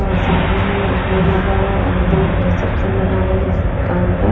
और सामने ही एक बोर्ड लगा हुआ है और अंदर रिसेप्शन बना हुआ है जिस काउंटर .